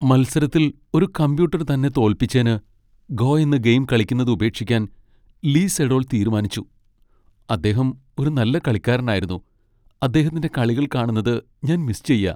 മത്സരത്തിൽ ഒരു കമ്പ്യൂട്ടർ തന്നെ തോൽപ്പിച്ചേന് "ഗോ" എന്ന ഗെയിം കളിക്കുന്നത് ഉപേക്ഷിക്കാൻ ലീ സെഡോൾ തീരുമാനിച്ചു. അദ്ദേഹം ഒരു നല്ല കളിക്കാരനായിരുന്നു, അദ്ദേഹത്തിന്റെ കളികൾ കാണുന്നത് ഞാൻ മിസ് ചെയ്യാ.